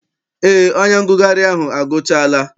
Eé, onye ngụgharị ahụ agụchaala.